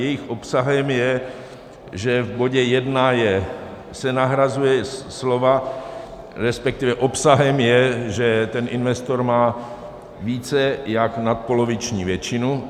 Jejich obsahem je, že v bodě 1 se nahrazují slova, respektive obsahem je, že ten investor má více jak nadpoloviční většinu.